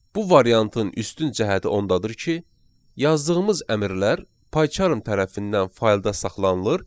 Bu variantın üstün cəhəti ondadır ki, yazdığımız əmrlər Paycharm tərəfindən faylda saxlanılır.